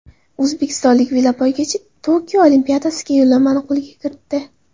O‘zbekistonlik velopoygachi Tokio Olimpiadasiga yo‘llanmani qo‘lga kiritdi.